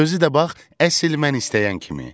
Özü də bax, əsl mən istəyən kimi.